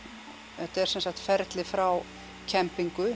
þetta er sem sagt ferli frá